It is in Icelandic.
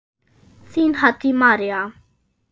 Þín, Haddý María.